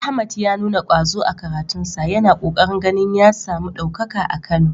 Ahmad ya nuna ƙwazo a karatunsa, yana ƙoƙarin ganin ya samu ɗaukaka a Kano.